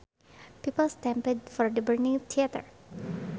People stampeded from the burning theater